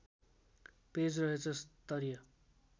page रहेछ स्तरीय